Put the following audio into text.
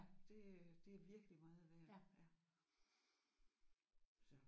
Det det er virkelig meget værd ja